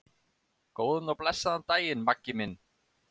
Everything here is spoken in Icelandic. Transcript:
Góðan og blessaðan daginn, Maggi minn.